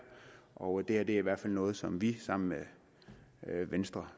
og det her er i hvert fald noget som vi sammen med venstre